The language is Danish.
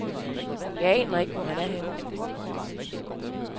Jeg aner ikke, hvor han er henne.